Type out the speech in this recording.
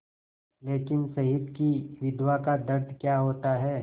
लेकिन शहीद की विधवा का दर्द क्या होता है